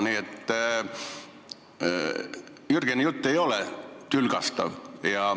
Nii et Jürgeni jutt ei ole tülgastav.